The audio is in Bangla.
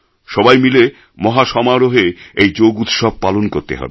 সবাই মিলে মহাসমারোহে এই যোগ উৎসব পালন করতে হবে